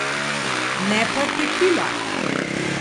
Ne pa tekila!